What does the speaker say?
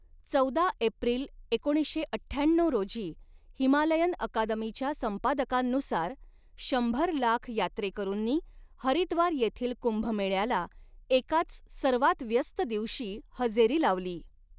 चौदा एप्रिल एकोणीसशे अठ्ठ्याण्णऊ रोजी, हिमालयन अकादमीच्या संपादकांनुसार, शंभर लाख यात्रेकरूंनी हरिद्वार येथील कुंभमेळ्याला, एकाच सर्वात व्यस्त दिवशी हजेरी लावली.